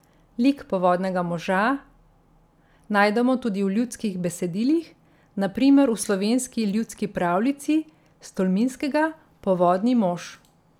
Lik povodnega moža najdemo tudi v ljudskih besedilih, na primer v slovenski ljudski pravljici s Tolminskega Povodni mož.